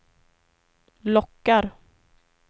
lockar